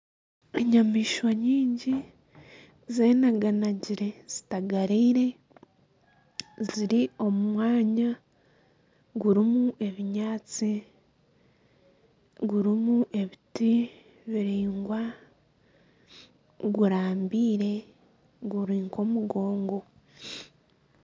Enyamaishwa nyingi zenaganagire zitagariire, ziri omu manya gurimu ebinyaatsi, gurimu ebiti biraingwa, gurambeire guri nk'omugongo.